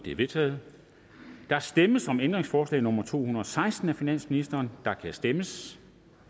er vedtaget der stemmes om ændringsforslag nummer to hundrede og seksten af finansministeren og der kan stemmes